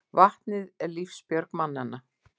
Vatnið er lífsbjörg mannanna.